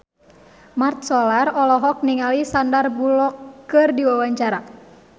Mat Solar olohok ningali Sandar Bullock keur diwawancara